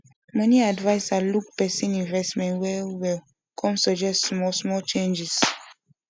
money adviser look the person investment well well come suggest small small changes